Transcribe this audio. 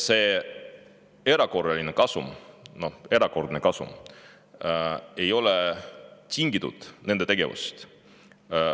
See erakorraline, erakordne kasum ei ole tingitud nende tegevusest.